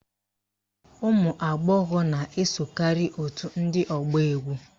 Ụmụagbọghọ na-esokarị òtù ndị ọgba égwú